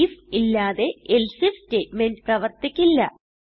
if ഇല്ലാതെ else if statement പ്രവർത്തിക്കില്ല